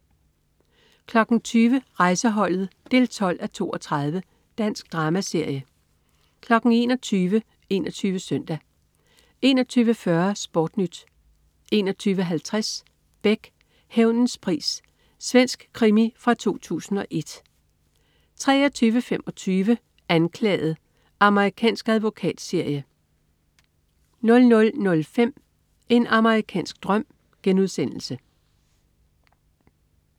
20.00 Rejseholdet 12:32. Dansk dramaserie 21.00 21 Søndag 21.40 SportNyt 21.50 Beck. Hævnens pris. Svensk krimi fra 2001 23.25 Anklaget. Amerikansk advokatserie 00.05 En amerikansk drøm*